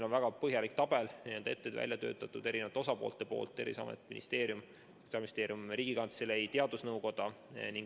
Väga põhjalik tabel on välja töötatud eri osalistel: Terviseamet, Sotsiaalministeerium, Riigikantselei, teadusnõukoda.